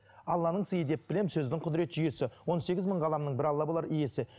алланың сыйы деп білемін сөздің құдырет жүйесі он сегіз мың ғаламның бір алла болар иесі